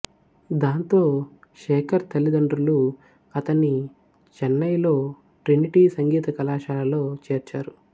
దాంతో శేఖర్ తల్లిదండ్రులు అతన్ని చెన్నైలో ట్రినిటీ సంగీత కళాశాలలో చేర్చారు